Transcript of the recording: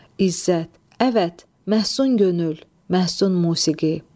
İzzət: Əvət, məhsun könül, məhsun musiqi.